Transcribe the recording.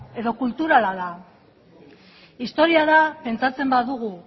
edo kulturala da historia da pentsatzen badugu